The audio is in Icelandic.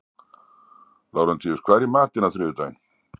Lárentíus, hvað er í matinn á þriðjudaginn?